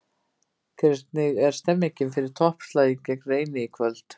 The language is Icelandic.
Hvernig er stemningin fyrir toppslaginn gegn Reyni í kvöld?